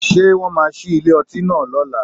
Ṣé wọ́n máa ṣí ilé ọtí náà lọ́la?